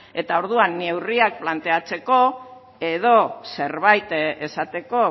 eta orduan neurriak planteatzeko edo zerbait esateko